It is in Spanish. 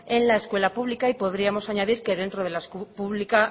en el escuela pública y podríamos añadir que dentro